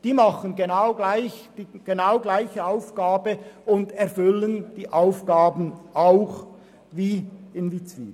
Diese erfüllen genau dieselbe Aufgabe wie Witzwil.